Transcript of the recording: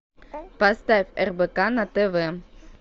поставь рбк на тв